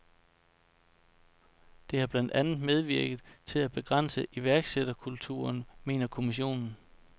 Det har blandt andet medvirket til at begrænse iværksætterkulturen, mener kommissionen.